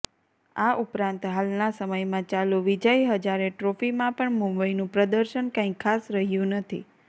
આ ઉપરાંત હાલના સમયમાં ચાલુ વિજય હજારે ટ્રોફીમાં પણ મુંબઈનું પ્રદર્શન કાંઈ ખાસ રહ્યું નથી